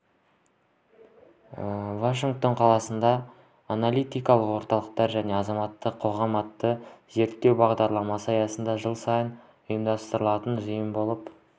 вашингтон қаласында аналитикалық орталықтар және азаматтық қоғам атты зерттеу бағдарламасы аясында жыл сайын ұйымдастырылатын жиын болып